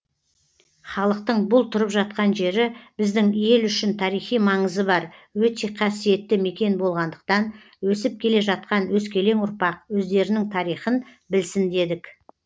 халықтың бұл тұрып жатқан жері біздің ел үшін тарихи маңызы бар өте қасиетті мекен болғандықтан өсіп келе жатқан өскелең ұрпақ өздерінің тарихын білсін дедік